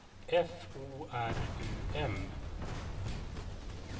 F O R U M